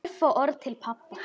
Örfá orð til pabba.